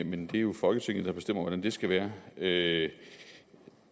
men det er jo folketinget der bestemmer hvordan det skal være det